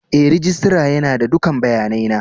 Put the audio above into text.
E, rijistira yana da dukan bayanai na.